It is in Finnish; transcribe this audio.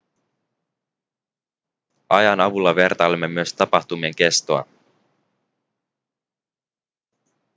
ajan avulla vertailemme myös tapahtumien kestoa